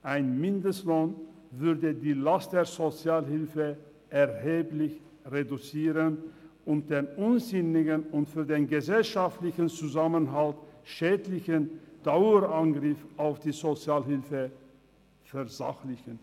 Ein Mindestlohn würde die Last der Sozialhilfe erheblich reduzieren und den unsinnigen und für den gesellschaftlichen Zusammenhalt schädlichen Dauerangriff auf die Sozialhilfe versachlichen.